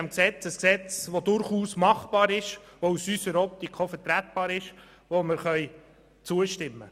Das neue Gesetz ist durchaus umsetzbar, es ist aus unserer Sicht auch vertretbar und wir können ihm zustimmen.